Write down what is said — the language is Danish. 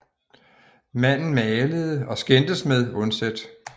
Manden malede og skændtes med Undset